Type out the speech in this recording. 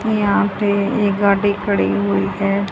ये यहां पे एक गाड़ी खड़ी हुई है।